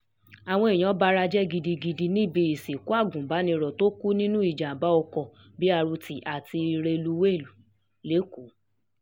àwọn èèyàn bara jẹ́ gidigidi um níbi ìsìnkú agùnbánirò tó kù nínú ìjàgbá ọkọ b rt àti um rélùwéè lẹ́kọ̀ọ́